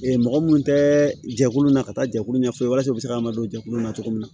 mɔgɔ minnu tɛ jɛkulu na ka taa jɛkulu ɲɛfɔ walasa u bɛ se k'an don jɛkulu na cogo min na